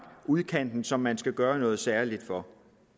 udkanten som man skal gøre noget særligt for